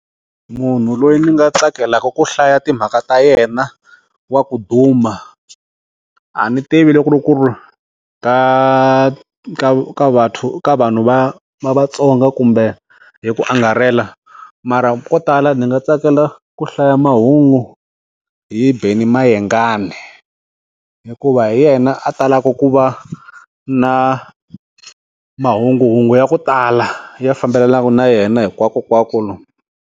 Munhu loyi ndzi nga tsakelaka ku hlaya timhaka ta yena wa ku duma a ni tivi loko loku ka ka ka va ka vanhu va va Vatsonga kumbe hi ku angarhela mara ko tala ndzi nga tsakela ku hlaya mahungu hi Benny Mayengani hikuva hi yena a talaka ku va na mahunguhungu ya ku tala ya fambelanaka na yena hinkwakonkwako lomu.